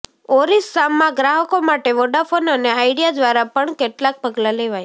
ઓરિસ્સામાં ગ્રાહકો માટે વોડાફોન અને આઇડિયા દ્વારા પણ કેટલાક પગલા લેવાયા